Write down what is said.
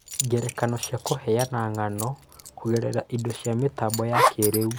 Ngerekano cia Kũheana ng'ano Kũgerera indo cia mĩtambo ya kĩĩrĩu